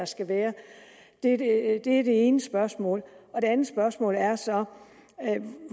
skal være det er det ene spørgsmål det andet spørgsmål er så